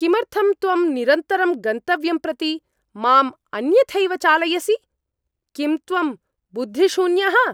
किमर्थं त्वं निरन्तरं गन्तव्यं प्रति मां अन्यथैव चालयसि? किं त्वं बुद्धिशून्यः?